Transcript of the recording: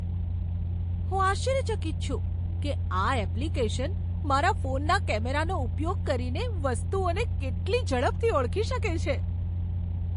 હું આશ્ચર્યચકિત છું કે આ એપ્લિકેશન મારા ફોનના કેમેરાનો ઉપયોગ કરીને વસ્તુઓને કેટલી ઝડપથી ઓળખી શકે છે.